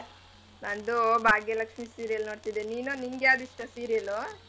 ನಂದು ಭಾಗ್ಯ ಲಕ್ಷೀ serial ನೋಡ್ತಿದ್ದೆ ನೀನು ನಿಗ್ಯಾವ್ದ್ ಇಷ್ಟ serial ಲು?